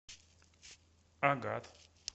агат